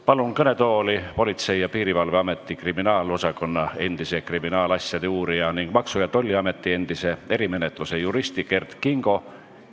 Palun kõnetooli Politsei- ja Piirivalveameti kriminaalosakonna endise kriminaalasjade uurija ning Maksu- ja Tolliameti endise erimenetluse juristi Kert Kingo.